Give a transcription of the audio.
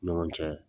Ni ɲɔgɔn cɛ